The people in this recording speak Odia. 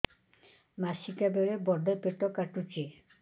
ମାସିକିଆ ବେଳେ ବଡେ ପେଟ କାଟୁଚି